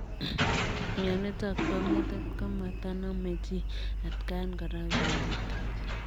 Mionitok poo metit komatanamee chii atkaan koraa kunyitik.